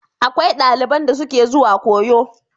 Akwai daliban da suke zuwa koyo.